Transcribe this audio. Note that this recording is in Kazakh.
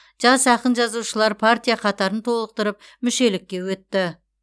жас ақын жазушылар партия қатарын толықтырып мүшелікке өтті